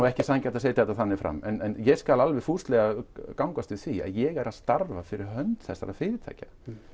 ekki sanngjarnt að setja þetta þannig fram en ég skal alveg fúslega gangast við því að ég er að starfa fyrir hönd þessara fyrirtækja